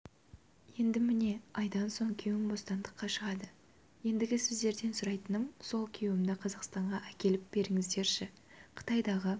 енді міне айдан соң күйеуім бостандыққа шығады ендігі сіздерден сұрайтыным сол күйеуімді қазақстанға әкеліп беріңіздерші қытайдағы